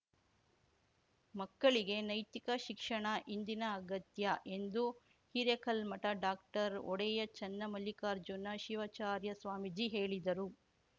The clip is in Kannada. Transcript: ಮಕ್ಕಳಿಗೆ ನೈತಿಕ ಶಿಕ್ಷಣ ಇಂದಿನ ಅಗತ್ಯ ಎಂದು ಹಿರೇಕಲ್ಮಠ ಡಾಕ್ಟರ್ ಒಡೆಯ ಚನ್ನಮಲ್ಲಿಕಾರ್ಜುನ ಶಿವಾಚಾರ್ಯ ಸ್ವಾಮೀಜಿ ಹೇಳಿದರು